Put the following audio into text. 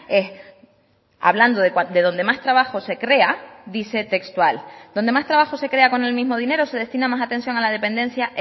es hablando de donde más trabajo se crea dice textual donde más trabajo se crea con el mismo dinero se destina más atención a la dependencia